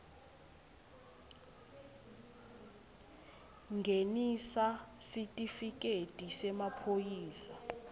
ngenisa sitifiketi semaphoyisa